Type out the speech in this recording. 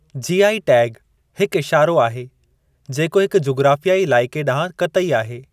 GI tag हिकु इशारो आहे जेको हिकु जुग़राफ़ियाई इलाइक़े ॾांहुं क़तई आहे।